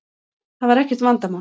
Það var ekkert vandamál.